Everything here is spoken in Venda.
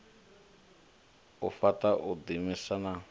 u fhaṱa u ḓiimisa na